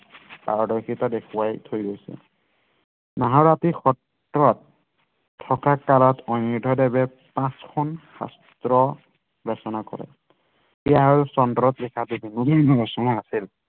পাৰৰ্দশিতা দেখুৱাই থৈ গৈছে সত্ৰত থকা কালত অণিৰুদ্ধ দেৱে পাচঁখন শাস্ত্ৰ ৰচনা কৰে